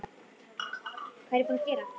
Hvað var ég búin að gera?